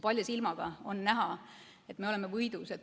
Palja silmaga on näha, et me oleme võidus.